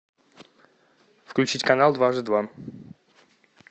включить канал дважды два